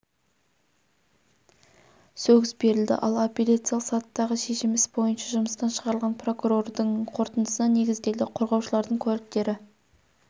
сөгіс берілді ал апелляциялық сатыдағы шешім іс бойынша жұмыстан шығарылған прокурордың қорытындысына негізделді қорғаушылардың куәліктері